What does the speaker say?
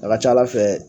A ka ca ala fɛ